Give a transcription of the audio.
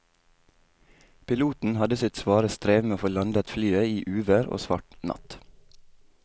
Piloten hadde sitt svare strev med å få landet flyet i uvær og svart natt.